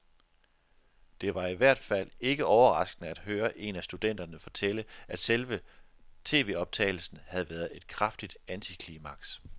Det var i hvert fald ikke overraskende at høre en af studenterne fortælle, at selve tvoptagelsen havde været et kraftigt antiklimaks.